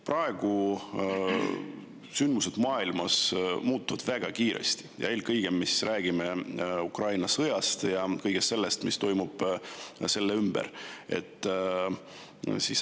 Praegu sündmused maailmas muutuvad väga kiiresti ja eelkõige me räägime Ukraina sõjast ja kõigest sellest, mis toimub selle ümber.